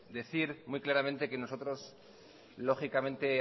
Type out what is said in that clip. decir muy claramente que nosotros lógicamente